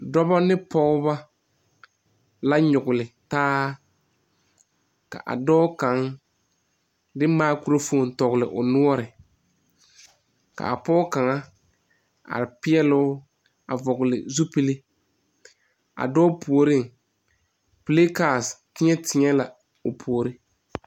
Dɔbɔ ane pɔgbɔ la nyɔgle taa kyɛ kaa dɔɔ kaŋa de maakurofoni a tɔgle o nʋɔre. Pɔge kaŋa are peɛle o la a vɔgle zupil kyɛ ka ba zɛge zɛge boma a dɔɔpʋoreŋ